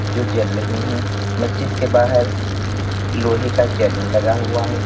जो जल रही है मस्जिद के बाहर लोहे का चैनल लगा हुआ है।